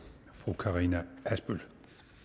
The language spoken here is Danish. fru karina adsbøl